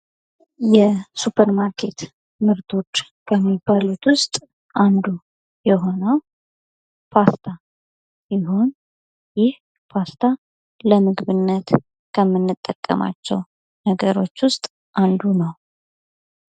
የሱፐር ማርኬት ምርቶች ከሚባሉት ዉስጥ አነዱ የሆነዉ ፓስታ ሲሆን ይህ ፓስታ ለምግብነት ከምንጠቀምባቸዉ ዉስጥ አንዱ ነዉ።